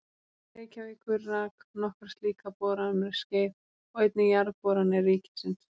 Reykjavíkur rak nokkra slíka bora um skeið og einnig Jarðboranir ríkisins.